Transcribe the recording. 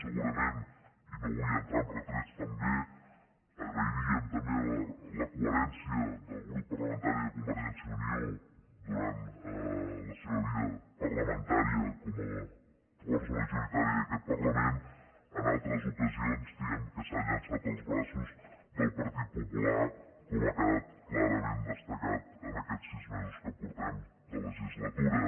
segurament i no vull entrar en retrets agrairíem també la coherència del grup parlamentari de convergència i unió durant la seva vida parlamentària com a força majoritària d’aquest parlament en altres ocasions diguem que s’ha llançat als braços del partit popular com ha quedat clarament destacat en aquests sis mesos que portem de legislatura